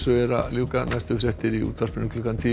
er að ljúka næstu fréttir eru í útvarpinu klukkan tíu